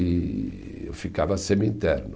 E eu ficava semi-interno.